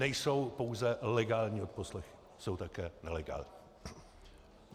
Nejsou pouze legální odposlechy, jsou také nelegální.